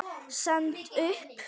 Stend upp.